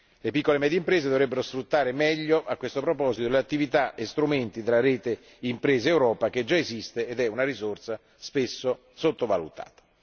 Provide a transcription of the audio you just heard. Le piccole e medie imprese dovrebbero sfruttare meglio a questo proposito le attività e strumenti della rete Impresa Europa, che già esiste ed è una risorsa spesso sottovalutata.